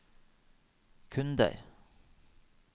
kunder